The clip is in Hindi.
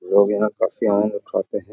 लोग यहाँ काफी आम लोग खाते हैं।